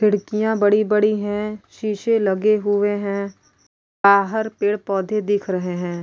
खिड़किया बड़ी -बड़ी है सीसे लगे हुए है बाहर पेड़ -पौधे दिख रहे है।